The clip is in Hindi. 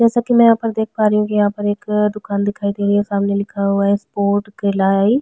जैसे की मैं यहाँ पर देख पा रही हूँ यहाँ पर एक दूकान दिखई दे रही है सामने लिखा हुआ है स्पोर्ट गलाई।